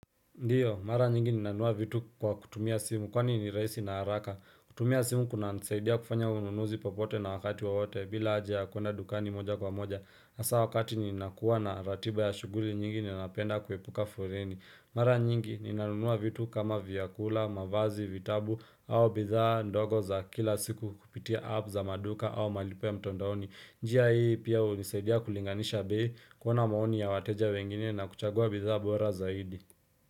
Ndiyo, mara nyingi ninanua vitu kwa kutumia simu kwa ni ni raisi na haraka. Kutumia simu kuna nisaidia kufanya ununuzi popote na wakati wowote bila haja ya kuenda dukani moja kwa moja. Asa wakati ninakuwa na ratiba ya shuguli nyingi ninapenda kuepuka foreni. Mara nyingi ninanunua vitu kama vyakula, mavazi, vitabu au bidhaa ndogo za kila siku kupitia app za maduka au malipo ya mtondaoni. Njia hii pia unisaidia kulinganisha bei kuona maoni ya wateja wengine na kuchagua bidhaa bora zaidi.